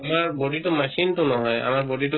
সিয়াৰ body তো machine তো নহয় আমাৰ body তো